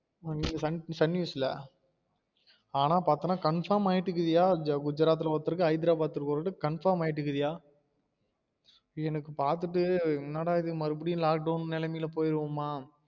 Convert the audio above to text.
Sun news ல ஆனால் பாத்தோம்ன confirm ஆயிட்டு இருக்குதுயா குஜராத் ஒருத்தருக்கு ஹைதராபாத் ஒருவருக்கு confirm ஆயிட்டுக்கு யா எனக்கு பாத்திட்டு என்னடா இது மறுபடியும் lockdown நிலமைல போயிடுவோம்மா